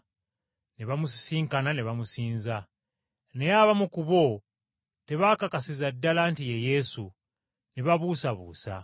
Ne bamusisinkana ne bamusinza. Naye abamu ku bo tebaakakasiza ddala nti ye Yesu, ne babuusabuusa!